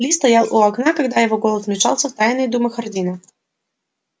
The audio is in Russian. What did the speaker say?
ли стоял у окна когда его голос вмешался в тайные думы хардина